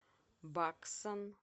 баксан